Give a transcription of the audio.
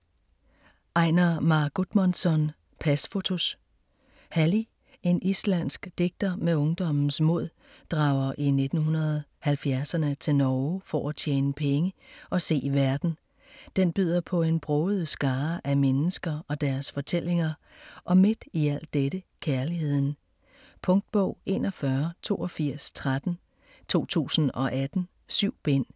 Einar Már Guðmundsson: Pasfotos Halli, en islandsk digter med ungdommens mod, drager i 1970'erne til Norge for at tjene penge og se verden. Den byder på en broget skare af mennesker og deres fortællinger og midt i al dette, kærligheden. Punktbog 418213 2018. 7 bind.